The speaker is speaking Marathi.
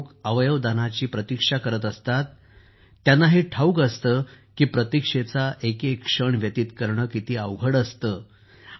जे लोक अवयव दानाची प्रतीक्षा करत असतात त्यांना हे ठाऊक असतं की प्रतीक्षेचा एक एक क्षण व्यतीत करणं किती अवघड असतं